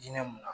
Diinɛ mun na